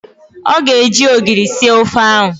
Ọ ga-eji ogiri sie ofe ahụ